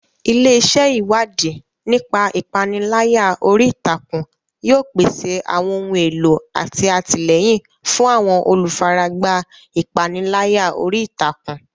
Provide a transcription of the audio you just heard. Ilé iṣẹ́ Ìwádìí nípa ìpániláyà orí ìtàkùn yóò pèsè àwọn ohun èlò àti àtìlẹ́yìn fún àwọn olùfaragbá ìpániláyà orí ìtàkùn.